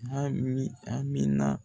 A min Amina